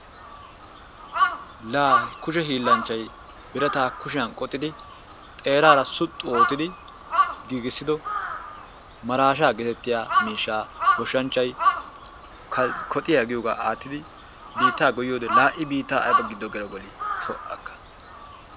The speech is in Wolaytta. Laa he kushe hiillanchchay birataa kushiyan qoxxidi xeerara suxxu oottidi giigisido maraasha getettiya miishshaa goshshanchchay koxxiya giyoogaa aattidi biittaa goyiyode laa i biitta ayba gelo gelii tu haaka!